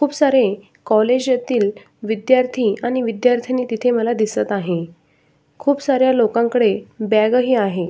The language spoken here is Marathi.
खूप सारे कॉलेज येथील विद्यार्थी आणि विद्यार्थिनी तिथे मला दिसत आहे खूप साऱ्या लोकांकडे बॅग ही आहे.